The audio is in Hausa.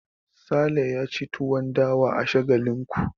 Sale ya ci tuwon dawa a Shagalinku.